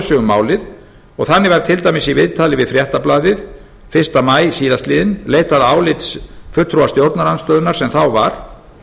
um málið og þannig var til dæmis í viðtali við fréttablaðið fyrsta maí síðastliðinn leitað álits fulltrúa stjórnarandstöðunnar sem þá var